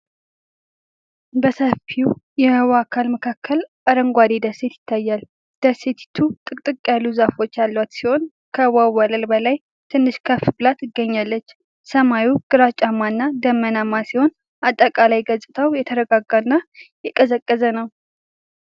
በሰፊ የውሃ አካል መካከል አረንጓዴ ደሴት ይታያል። ደሴቲቱ ጥቅጥቅ ያለ ዛፎች ያሏት ሲሆን፣ ከውሃው ወለል በላይ ትንሽ ከፍ ብላ ትገኛለች። ሰማዩ ግራጫማ እና ደመናማ ሲሆን፣ አጠቃላይ ገጽታው የተረጋጋና የቀዘቀዘ ነው።